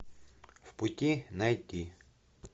в пути найти